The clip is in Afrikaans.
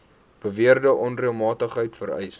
beweerde onreëlmatigheid vereis